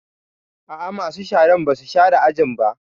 A'a, masu sharan ba su share ajin ba